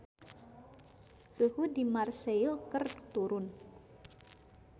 Suhu di Marseille keur turun